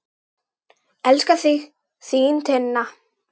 Elska þig, þín Tinna.